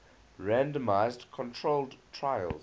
randomized controlled trials